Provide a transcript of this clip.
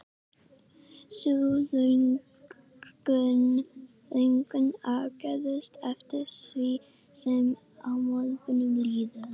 Sú löngun ágerist eftir því sem á morguninn líður.